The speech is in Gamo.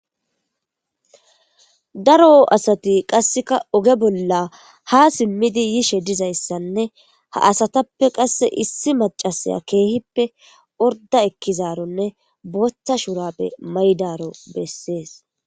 daro asati qasseka oge bolla ha simmidi yishe dizayssanne ha asatappe qasse issi macasaya keehippe orda ekkizaronne booththa shurapbe maydaro bessees